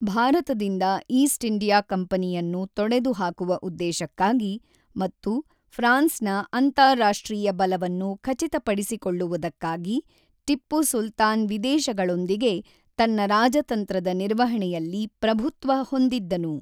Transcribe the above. ಭಾರತದಿಂದ East India ಕಂಪನಿಯನ್ನು ತೊಡೆದುಹಾಕುವ ಉದ್ದೇಶಕ್ಕಾಗಿ ಮತ್ತು ಫ್ರಾನ್ಸ್‌ನ ಅಂತಾರಾಷ್ಟ್ರೀಯ ಬಲವನ್ನು ಖಚಿತಪಡಿಸಿಕೊಳ್ಳುವುದಕ್ಕಾಗಿ ಟಿಪ್ಪು ಸುಲ್ತಾನ್ ವಿದೇಶಗಳೊಂದಿಗೆ ತನ್ನ ರಾಜತಂತ್ರದ ನಿರ್ವಹಣೆಯಲ್ಲಿ ಪ್ರಭುತ್ವ ಹೊಂದಿದ್ದನು.